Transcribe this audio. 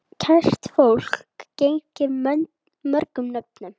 Kært fólk gegnir mörgum nöfnum.